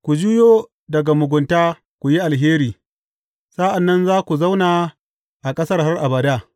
Ku juyo daga mugunta ku yi alheri; sa’an nan za ku zauna a ƙasar har abada.